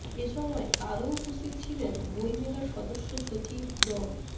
এ সময় আরও উপস্থিত ছিলেন বইমেলার সদস্য সচিব ড